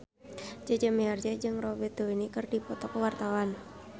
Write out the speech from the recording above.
Jaja Mihardja jeung Robert Downey keur dipoto ku wartawan